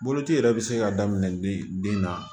Boloci yɛrɛ bɛ se ka daminɛ bi na